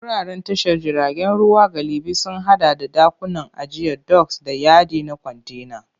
Wuraren tashar jiragen ruwa galibi sun haɗa da ɗakunan ajiya doks, da yadi na kwantena.